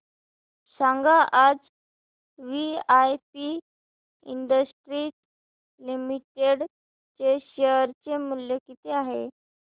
सांगा आज VIP industries limited चे शेअर चे मूल्य किती आहे